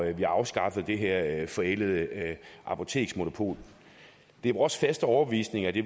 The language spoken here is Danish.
at man afskaffer det her forældede apoteksmonopol det er vores faste overbevisning at det